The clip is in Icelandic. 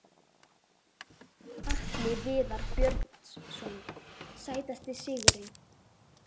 Atli Viðar Björnsson Sætasti sigurinn?